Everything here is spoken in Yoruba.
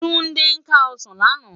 Tunde ká òsán làná